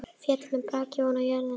Féll með braki ofan á jörðina.